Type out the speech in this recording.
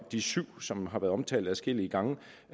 de syv som har været omtalt adskillige gange